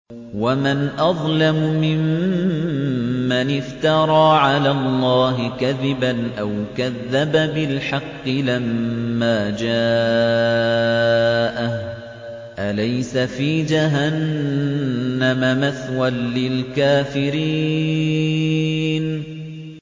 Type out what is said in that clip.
وَمَنْ أَظْلَمُ مِمَّنِ افْتَرَىٰ عَلَى اللَّهِ كَذِبًا أَوْ كَذَّبَ بِالْحَقِّ لَمَّا جَاءَهُ ۚ أَلَيْسَ فِي جَهَنَّمَ مَثْوًى لِّلْكَافِرِينَ